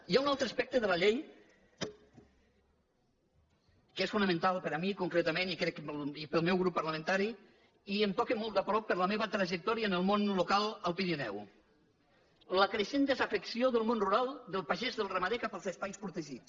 hi ha un altre aspecte de la llei que és fonamental per mi concretament i crec que pel meu grup parlamentari i em toca molt de prop per la meva trajectòria en el món local al pirineu la creixent desafecció del món rural del pagès del ramader cap als espais protegits